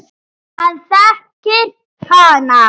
Hann þekkir hana.